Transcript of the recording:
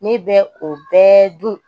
Ne bɛ o bɛɛ dun